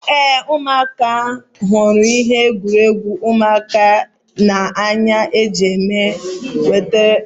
Éè, ụmụaka hụrụ ihe egwuregwu ụmụaka n'anya ya mere e wetara m ha otu